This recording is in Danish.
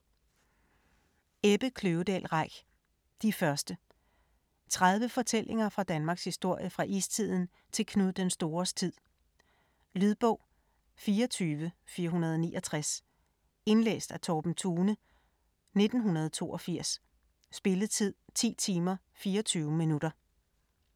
Reich, Ebbe Kløvedal: De første 30 fortællinger fra Danmarks historie fra istiden til Knud den Stores tid. Lydbog 24469 Indlæst af Torben Thune, 1982. Spilletid: 10 timer, 24 minutter.